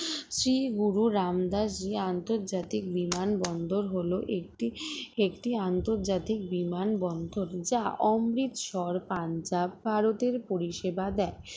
শ্রী গুরু রামদাস জি আন্তর্জাতিক বিমানবন্দর হলো একটি একটি আন্তর্জাতিক বিমানবন্দর যা অমৃতসর পাঞ্জাব ভারতের পরিষেবা দেয়